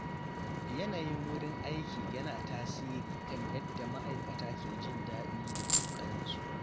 Yanayin wurin aiki yana tasiri kan yadda ma’aikata ke jin daɗi da ƙoƙarin su.